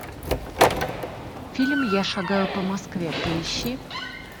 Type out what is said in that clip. фильм я шагаю по москве поищи